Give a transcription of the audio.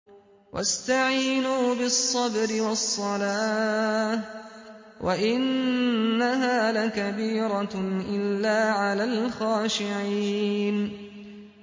وَاسْتَعِينُوا بِالصَّبْرِ وَالصَّلَاةِ ۚ وَإِنَّهَا لَكَبِيرَةٌ إِلَّا عَلَى الْخَاشِعِينَ